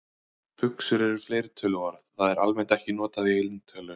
Buxur er fleirtöluorð, það er almennt ekki notað í eintölu.